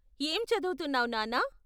ఏం చదువుతున్నావు నాన్నా?